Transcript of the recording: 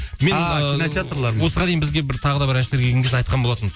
осыған дейін бізге тағы да бір әншілер келген кезде айтқан болатынмын